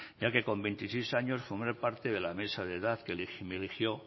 ya que con veintiséis años formé parte de la mesa de edad que me eligió